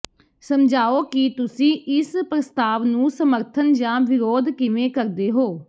ਸਮਝਾਓ ਕਿ ਤੁਸੀਂ ਇਸ ਪ੍ਰਸਤਾਵ ਨੂੰ ਸਮਰਥਨ ਜਾਂ ਵਿਰੋਧ ਕਿਵੇਂ ਕਰਦੇ ਹੋ